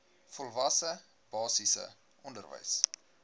volwasse basiese onderwys